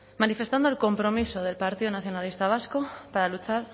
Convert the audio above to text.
manifestando el compromiso del partido nacionalista vasco para luchar